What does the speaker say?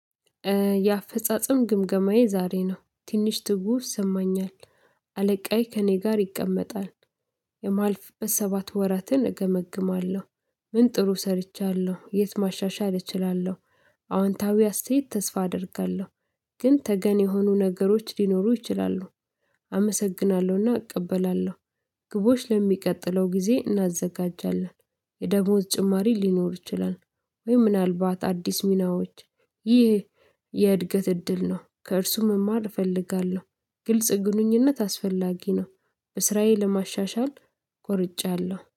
የአፈጻጸም ግምገማዬ ዛሬ ነው። ትንሽ ትውፍ ሰማኛል። አለቃዬ ከእኔ ጋር ይቀመጣል። የማልፍ በሰባት ወራትን እገመግማለሁ። ምን ጥሩ ሰርቻለሁ፤ የት ማሻሻል እችላለሁ፤ አዎንታዊ አስተያየት ተስፋ አደርጋለሁ፤ ግን ተገን የሆኑ ነገሮች ሊኖሩ ይችላሉ። አመሰግናለሁና እቀበላለሁ። ግቦች ለሚቀጥለው ጊዜ እናዘጋጃለን። የደሞዝ ጭማሪ ሊኖር ይችላል፤ ወይ ምናልባት አዲስ ሚናዎች። ይህ የእድገት እድል ነው። ከእርሱ መማር እፈልጋለሁ። ግልጽ ግንኙነት አስፈላጊ ነው። በስራዬ ለማሻሻል ቆርጫለሁ።